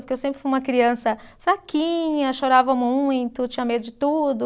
Porque eu sempre fui uma criança fraquinha, chorava muito, tinha medo de tudo.